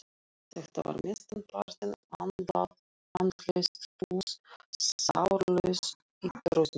Þetta var mestan partinn andlaust puð, sálarlaus ítroðningur.